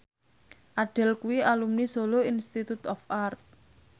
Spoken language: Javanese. Adele kuwi alumni Solo Institute of Art